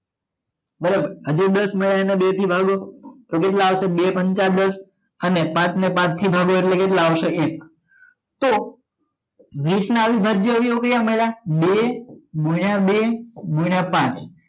બરાબર હજુ દસ મડીયા એને બે થી ભાગો તો કેટલા આવસે બે પાંચ દસ અને પાંચ ને પાંચ થી ભાગો એટલે કેટલા આવસે એક તો વીસ ના અવિભાજ્ય અવયવો કેટલા મડિયા બે ગુણિયા બે ગુણીય પાંચ